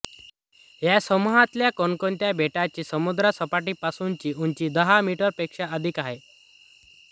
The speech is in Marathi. या समूहातल्या कोणत्याही बेटाची समुद्रसपाटीपासूनची उंची दहा मीटरपेक्षा अधिक नाही